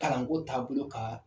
Kalanko taabolo ka